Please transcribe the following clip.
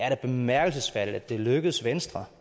er bemærkelsesværdigt at det er lykkedes venstre